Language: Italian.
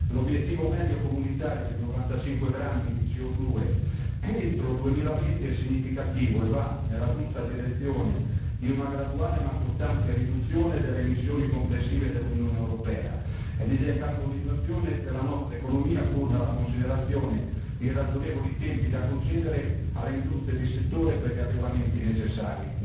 L'obiettivo medio comunitario di 95 grammi di CO 2 entro il 2020 è significativo e va nella giusta direzione di una graduale ma costante riduzione delle emissioni complessive dell'Unione europea e di decarbonizzazione della nostra economia, pur nella considerazione di ragionevoli tempi da concedere alle industrie di settore per gli adeguamenti necessari.